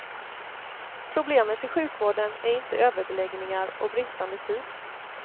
Problemet i sjukvården är inte överbeläggningar och bristande tid.